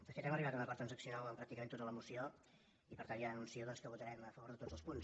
de fet hem arribat a un acord transaccional en pràcticament tota la moció i per tant ja anuncio doncs que votarem a favor de tots els punts